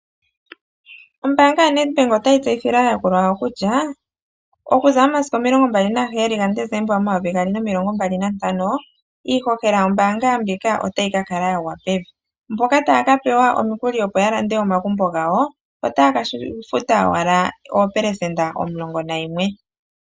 Ombaanga yoNet Bank ota yi tseyithile aayakulwa yawo kutya okuza momasiku omilongo mbali naheyali gaDecember omvula yomayovi gaali nomilongo mbali nantano, iihohela yombaanga ndjika ota yi ka kala yagwa pevi. Mboka ta ya pewa omikuli opo ya lande omagumbo gawo ota ya futa owala oopelesenda omilongo nayimwe .